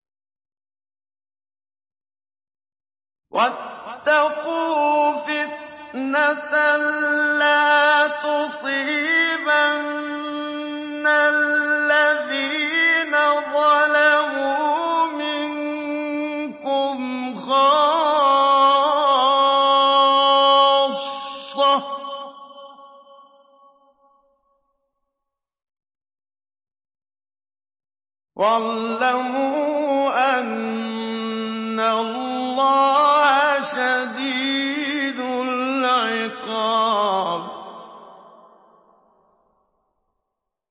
وَاتَّقُوا فِتْنَةً لَّا تُصِيبَنَّ الَّذِينَ ظَلَمُوا مِنكُمْ خَاصَّةً ۖ وَاعْلَمُوا أَنَّ اللَّهَ شَدِيدُ الْعِقَابِ